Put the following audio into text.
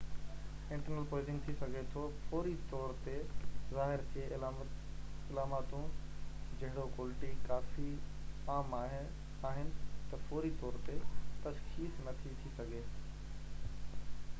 internal poisoning ٿي سگهي ٿو فوري طور تي ظاهر ٿئي علاماتون جهڙوڪ الٽي ڪافي عام آهن ته فوري طور تي تشخيص نٿي ٿي سگهجي